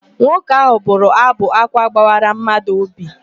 Nwoke ahụ bụrụ ábụ̀ ákwá gbawara madụ óbì.